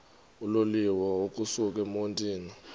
uloliwe ukusuk emontini